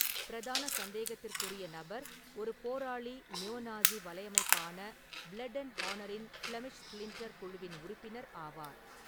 பிரதான சந்தேகத்திற்குறிய நபர் ஒரு போராளி நியோ -நாஸி வலையமைப்பான பிளட் அண்ட் ஹானரின் ஃ'பிளெமிஷ் ஸ்ப்ளிண்டர் குழுவின் உறுப்பினர் ஆவார்.